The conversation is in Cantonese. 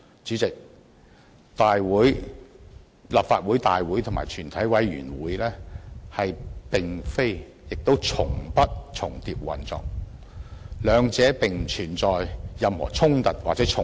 主席，立法會大會與全委會並非亦從不重疊運作，兩者並不存在任何衝突或重疊。